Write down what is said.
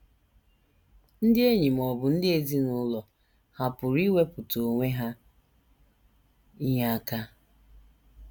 Ndị enyi ma ọ bụ ndị ezinụlọ hà pụrụ iwepụta onwe ha inye aka?